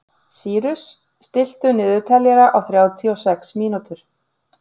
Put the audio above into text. Sýrus, stilltu niðurteljara á þrjátíu og sex mínútur.